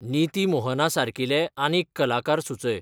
नीती मोहनासारकीले आनीक कलाकार सुचय